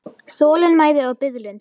Þolinmæði og biðlund.